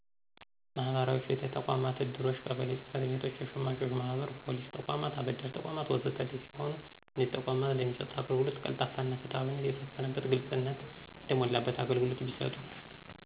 መህበራዊ ፍትህ ተቋማት፣ እድሮች፣ ቀበሌ ጸጽቤቶች፣ የሸማቾች ማህበር፣ ፖሊስ ተቋማት፣ አበዴሪተቋማት፣ ወዘተ ሰሲሆኑ እነዚህ ተቋማት ለሚሰጡት አገልግሎት ቀልጣፋና ፍትሀዊነት የሰፈነበት፣ ግልጽኝነት የተሞላበት አገልግሎት ቢሰጡ።